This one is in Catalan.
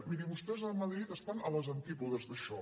miri vostès a madrid estan a les antípodes d’això